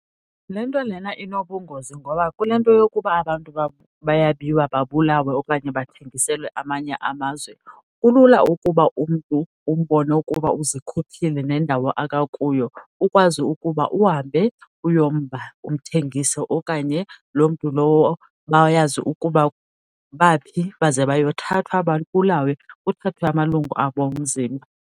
Le nto lena inobungozi ngoba kule nto yokuba abantu bayabiwa babulawe okanye bathengiselwe amanye amazwe, kulula ukuba umntu umbone ukuba uzikhuphile nendawo akakuyo ukwazi ukuba uhambe uyomba, umthengise. Okanye loo mntu lowo bayazi ukuba baphi baze bayothathwa babulawe, kuthathwe amalungu abo omzimba.